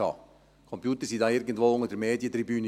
Die Computer waren da irgendwo unter der Medientribüne.